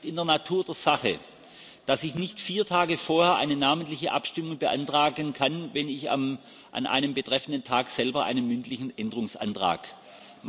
Aber es liegt in der Natur der Sache, dass ich nicht vier Tage vorher eine namentliche Abstimmung beantragen kann, wenn ich an einem betreffenden Tag selber einen mündlichen Änderungsantrag stelle.